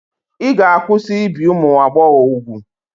Ị ga-akwụsị ibi ụmụ agbọghọ úgwù.